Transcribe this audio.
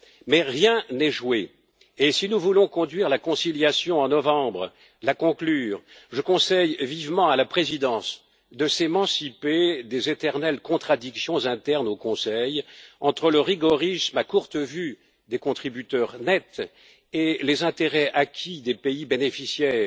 Mais rien n'est joué et, si nous voulons conduire la conciliation en novembre et la conclure, je conseille vivement à la Présidence de s'émanciper des éternelles contradictions internes au Conseil, entre le rigorisme à courte vue des contributeurs nets et les intérêts acquis des pays bénéficiaires,